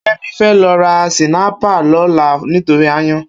Kemi fè lò rá sìnàípá lòlá nitóri àáyàn